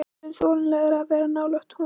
Það er orðið þolanlegra að vera nálægt honum.